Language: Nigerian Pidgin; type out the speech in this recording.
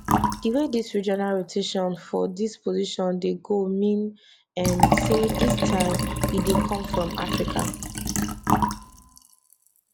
di way dis regional rotation for dis position dey go mean um say dis time e dey come from africa